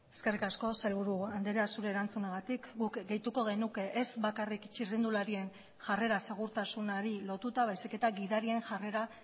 eskerrik asko sailburu andrea zure erantzunagatik guk gehituko genuke ez bakarrik txirrindularien jarrera segurtasunari lotuta baizik eta gidarien jarrera